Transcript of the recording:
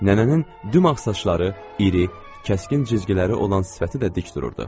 Nənənin dümağ saçları, iri, kəskin cizgiləri olan sifəti də dik dururdu.